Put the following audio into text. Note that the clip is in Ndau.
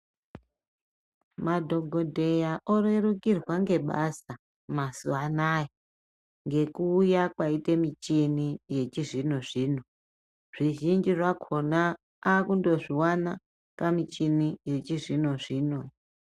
Madhokodheya orerukirwa ngebasa mazuva ano aya ngekuuya kwaite michini yechizvino zvino, zvizhinji zvakona akundozviwana pamichini yechizvino zvino.